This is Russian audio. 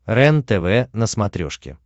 рентв на смотрешке